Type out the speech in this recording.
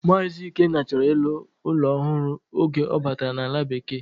Mazi Ikenna choro ilu ulo ohuru oge obatara na ala bekee.